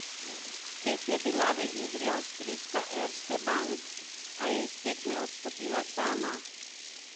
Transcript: Spet je bila v igri avstrijska Erste Bank, a je iz tekme odstopila sama.